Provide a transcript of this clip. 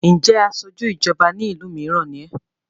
ǹjẹ́ asojú ìjọba ní ìlú mìíràn ni ẹ́?